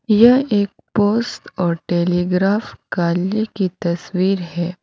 यह एक पोस्ट और टेलीग्राफ कालय की तस्वीर है।